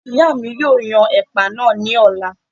ìyá mi yóò yan ẹ̀pà náà ní ọ̀la